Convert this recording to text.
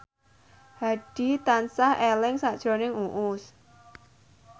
Hadi tansah eling sakjroning Uus